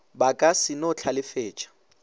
ba ka se no hlalefetša